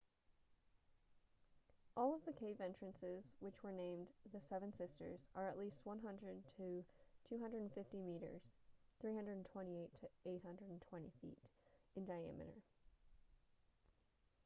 all of the cave entrances which were named the seven sisters are at least 100 to 250 meters 328 to 820 feet in diameter